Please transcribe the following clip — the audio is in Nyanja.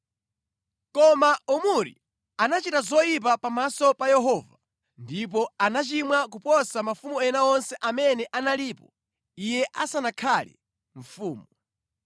Koma Omuri anachita zoyipa pamaso pa Yehova ndipo anachimwa kuposa mafumu ena onse amene analipo iye asanakhale mfumu.